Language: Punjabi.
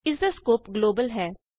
ਇਸਦਾ ਸਕੋਪ ਗਲੋਬਲ ਹੈ